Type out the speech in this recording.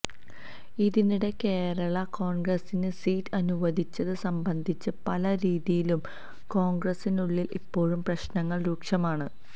ഇതിനിടെ കേരള കോണ്ഗ്രസിന് സീറ്റ് അനുവദിച്ചത് സംബന്ധിച്ച് പല രീതിയിലും കോണ്ഗ്രസിനുള്ളില് ഇപ്പോഴും പ്രശ്നങ്ങള് രൂക്ഷമാണ്